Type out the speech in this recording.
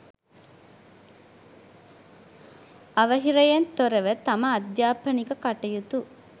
අවහිරයෙන් තොරව තම අධ්‍යාපනික කටයුතු